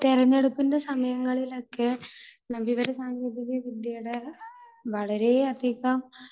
തിരഞ്ഞെടുപ്പിന്റെ സമയങ്ങളിലൊക്കെ വിവരസാങ്കേതികവിദ്യയുടെ വളരെയധികം